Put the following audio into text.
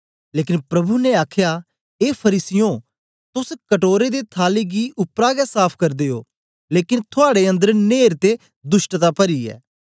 लेकन प्रभु ने आखया ए फरीसीयों तोस कटोरे ते थाली गी उपरा गै साफ करदे ओ लेकन थुआड़े अन्दर न्हेर ते दुष्टता परी ऐ